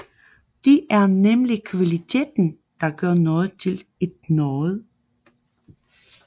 Det er nemlig kvaliteten der gør noget til et noget